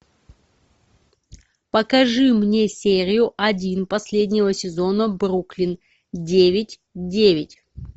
покажи мне серию один последнего сезона бруклин девять девять